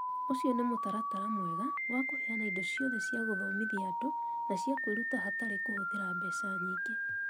Ũcio nĩ mũtaratara mwega wa kũheana indo ciothe cia gũthomithia andũ na cia kwĩruta hatarĩ kũhũthĩra mbeca nyingĩ.